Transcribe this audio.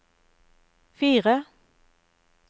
fire